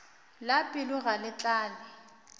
la pelo ga le tlale